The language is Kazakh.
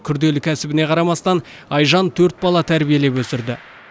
күрделі кәсібіне қарамастан айжан төрт бала тәрбиелеп өсірді